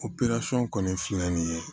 kɔni filɛ nin ye